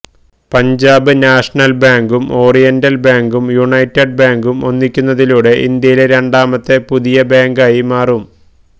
Punjab national ബാങ്കും oriental ബാങ്കും united ബാങ്കും ഒന്നിക്കുന്നതിലൂടെ ഇന്ത്യയിലെ രണ്ടാമത്തെ പുതിയ ബാങ്കായി മാറും